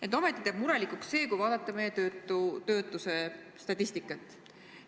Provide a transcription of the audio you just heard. Ent ometi teeb murelikuks see, kui vaadata töötuse statistikat.